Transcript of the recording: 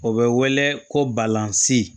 O bɛ wele ko balsan